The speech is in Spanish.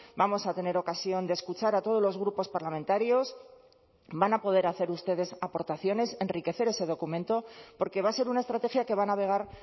vamos a tener ocasión de escuchar a todos los grupos parlamentarios van a poder hacer ustedes aportaciones enriquecer ese documento porque va a ser una estrategia que va a navegar